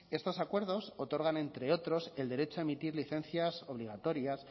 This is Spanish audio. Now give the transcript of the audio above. estos acuerdos otorgan entre otros el derecho a emitir licencias obligatorias